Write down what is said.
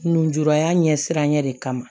Nunjuraya ɲɛ siran ɲɛ de kama